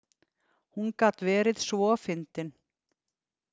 Hún gat verið svo fyndin.